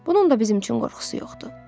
Bunun da bizim üçün qorxusu yoxdur.